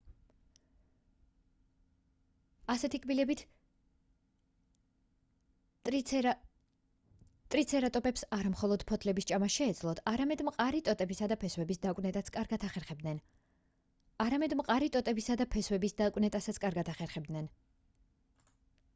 ასეთი კბილებით ტრიცერატოპებს არა მხოლოდ ფოთლების ჭამა შეეძლოთ არამედ მყარი ტოტებისა და ფესვების დაკვნეტასაც კარგად ახერხებდნენ